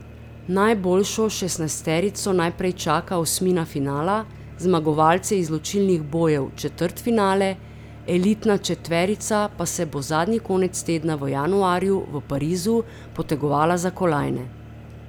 Najboljšo šestnajsterico najprej čaka osmina finala, zmagovalce izločilnih bojev četrtfinale, elitna četverica pa se bo zadnji konec tedna v januarju v Parizu potegovala za kolajne.